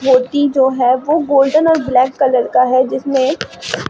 मूर्ति जो है वो गोल्डन और ब्लैक कलर का है जिसमें--